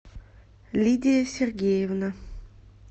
лидия сергеевна